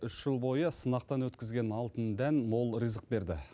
үш жыл бойы сынақтан өткізген алтын дән мол ризық берді